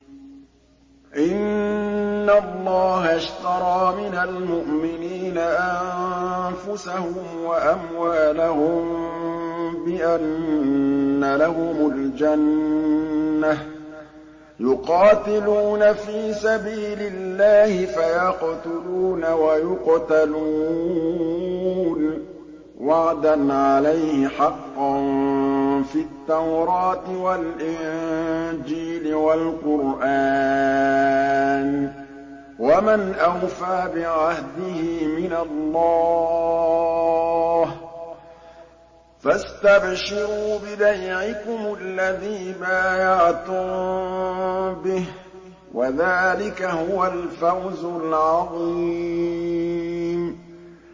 ۞ إِنَّ اللَّهَ اشْتَرَىٰ مِنَ الْمُؤْمِنِينَ أَنفُسَهُمْ وَأَمْوَالَهُم بِأَنَّ لَهُمُ الْجَنَّةَ ۚ يُقَاتِلُونَ فِي سَبِيلِ اللَّهِ فَيَقْتُلُونَ وَيُقْتَلُونَ ۖ وَعْدًا عَلَيْهِ حَقًّا فِي التَّوْرَاةِ وَالْإِنجِيلِ وَالْقُرْآنِ ۚ وَمَنْ أَوْفَىٰ بِعَهْدِهِ مِنَ اللَّهِ ۚ فَاسْتَبْشِرُوا بِبَيْعِكُمُ الَّذِي بَايَعْتُم بِهِ ۚ وَذَٰلِكَ هُوَ الْفَوْزُ الْعَظِيمُ